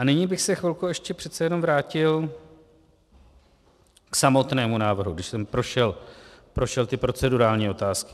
A nyní bych se chvilku ještě přece jenom vrátil k samotnému návrhu, když jsem prošel ty procedurální otázky.